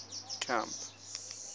camp